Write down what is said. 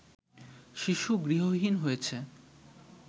শিশু গৃহহীন হয়েছে